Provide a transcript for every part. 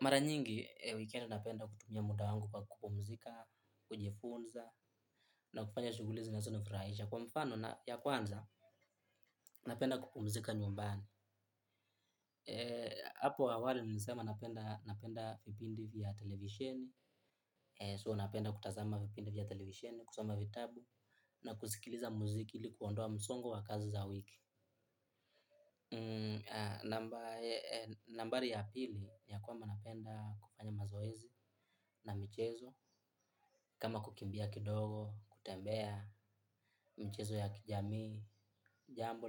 Mara nyingi, wikendi napenda kutumia muda wangu kwa kupumzika, kujifunza, na kufanya shughuli zinazonifurahisha. Kwa mfano, ya kwanza, napenda kupumzika nyumbani. Apo awali, nilisema napenda vipindi vya televisheni. So napenda kutazama vipindi vya televisheni, kusoma vitabu, na kusikiliza muziki li kuondoa msongo wa kazi za wiki. Nambari ya pili ya kwamba napenda kufanya mazoezi na michezo kama kukimbia kidogo, kutembea, michezo ya kijamii, jambo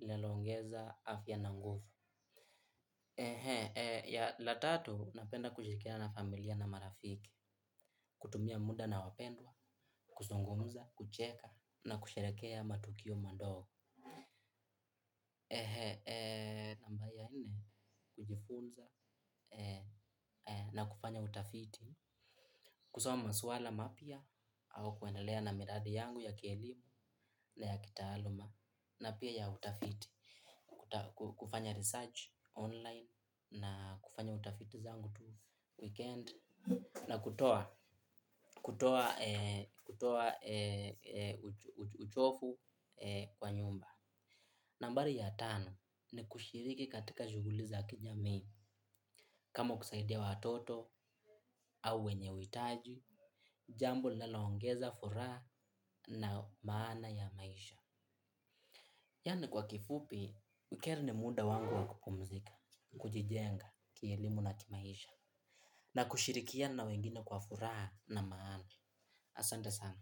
linaloongeza, afya na nguvu la tatu napenda kushirikiana familia na marafiki kutumia muda na wapendwa, kuzungumza, kucheka na kusherehekea matukio madogo. Namba ya nne kujifunza na kufanya utafiti kusoma masuala mapya au kuendelea na miradi yangu ya kielimu na ya kitaaluma na pia ya utafiti kufanya research online na kufanya utafiti zangu tu wikendi na kutoa kutoa uchovu kwa nyumba nambari ya tano ni kushiriki katika shughuli za kijamii, kama kusaidia watoto au wenye uhitaji, jambo linaloongeza furaha na maana ya maisha. Yaani kwa kifupi, wikendi ni muda wangu wa kupumzika, kujijenga, kielimu na kimaisha, na kushirikiana na wengine kwa furaha na maana. Asante sana.